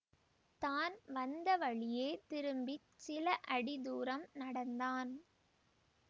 தான் வந்த வழியே திரும்பி சில அடி தூரம் நடந்தான்